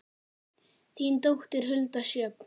Þín dóttir, Hulda Sjöfn.